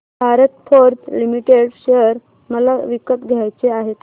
Bharat Forge Limited share मला विकत घ्यायचे आहेत